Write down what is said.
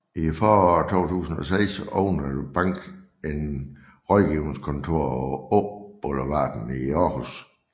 I foråret 2006 åbnede banken et rådgivningskontor på Åboulevarden i Århus